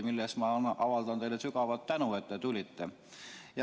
Selle eest ma avaldan teile sügavat tänu, et te tulite.